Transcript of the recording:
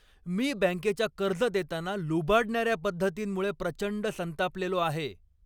मी बँकेच्या कर्ज देताना लुबाडणाऱ्या पद्धतींमुळे प्रचंड संतापलेलो आहे.